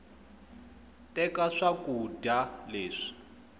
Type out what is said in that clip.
teka swakuda leswi